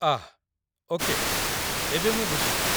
ଆଃ okay, ଏବେ ମୁଁ ବୁଝିଗଲି